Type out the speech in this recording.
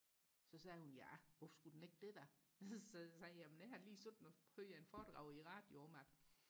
så sagde hun ja hvorfor skulle den ikke det da så sagde jeg jamen det har jeg lige hørt et foredrag i radioen om at